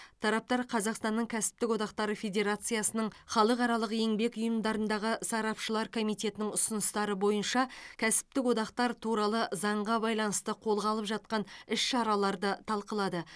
тараптар қазақстанның кәсіптік одақтары федерациясының халықаралық еңбек ұйымындағы сарапшылар комитетінің ұсыныстары бойынша кәсіптік одақтар туралы заңға байланысты қолға алып жатқан іс шараларды талқылады